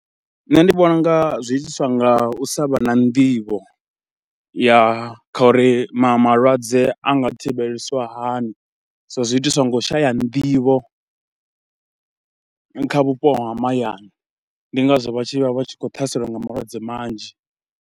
Nṋe ndi vhona u nga zwi itiswa nga u sa vha na nḓivho ya kha uri ma malwadze a nga thivhelisiwa hani, so zwi itiswa nga u shaya nḓivho kha vhupo ha mahayani. Ndi ngazwo vha tshi vha vha tshi khou ṱhaseliwa nga malwadze manzhi.